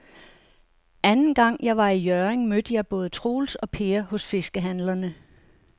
Anden gang jeg var i Hjørring, mødte jeg både Troels og Per hos fiskehandlerne.